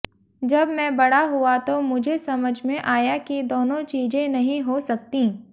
जब मैं बड़ा हुआ तो मुझे समझ में आया कि दोनों चीजें नहीं हो सकतीं